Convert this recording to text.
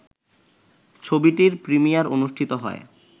ছবিটির প্রিমিয়ার অনুষ্ঠিত হয়